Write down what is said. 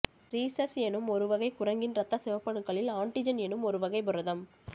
rhesus எனும் ஒருவகை குரங்கின் ரத்த சிவப்பணுக்களில் ஆன்டிஜன் எனும் ஒருவகைப் புரதம்